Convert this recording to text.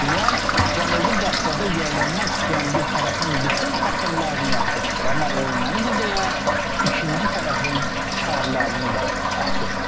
Paşinyan Cənubi Qafqazın yenilənmək istəyən bir tərəfin bütün paxırlarını yaxşı açır, amma ermənidir deyə ikinci tərəfin çıxarlarını da açır.